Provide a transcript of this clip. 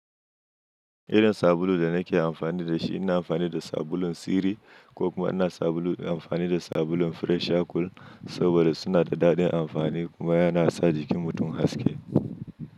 Irins sabulu da nake amfani da shi, ina amfani da sabulun Siri ko kuma ina sabulu amfani da sabulun Freshakool saboda suna da daɗin amfani kuma yana sa jikin mutum haske.